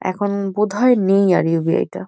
এখন বোধ হয় নেই আর ইউ.বি.আই -টা।